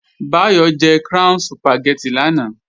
Báyọ̀ jẹ Crown Sùpàgẹ́tì lánàá